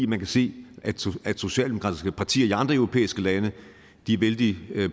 man se at socialdemokratiske partier i andre europæiske lande er vældig